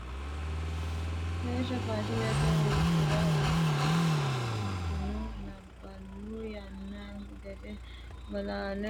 Beetto faashinete uddira uddino labbalu yannahu gede bolale woridono ertino gari faashinete aleeni uddidhino garino faashinete uddirase garino uduuniseno faashinete.